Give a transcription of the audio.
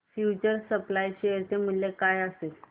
future supply share चे मूल्य काय असेल